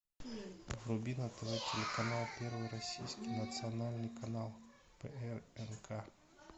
вруби на тв телеканал первый российский национальный канал прнк